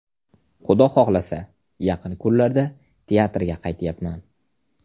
Xudo xohlasa, yaqin kunlarda teatrga qaytyapman.